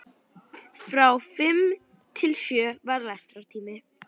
Frá fimm til sjö var lestrartími.